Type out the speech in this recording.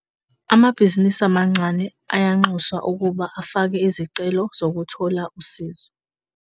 Amabhizinisi amancane ayanxuswa ukuba afake izicelo zokuthola usizo.